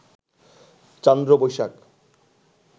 Chandra Boishakh